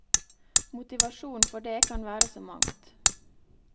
Motivasjonen for det kan være så mangt.